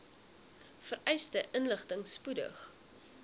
vereiste inligting spoedig